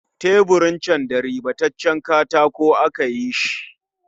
Teburin can da ribabben katako aka yi shi